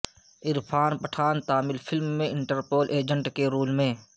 Irfan Pathan Tamil film میں Interpol agent کے role میں